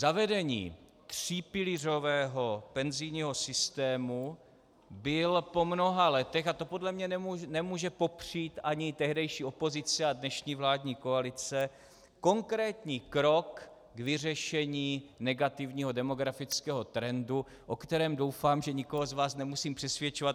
Zavedení třípilířového penzijního systému bylo po mnoha letech, a to podle mě nemůže popřít ani tehdejší opozice a dnešní vládní koalice, konkrétní krok k vyřešení negativního demokratického trendu, o kterém doufám, že nikoho z vás nemusím přesvědčovat.